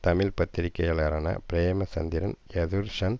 தமிழ் பத்திரிகையாளரான பிரேம சந்திரன் யதுர்ஷன்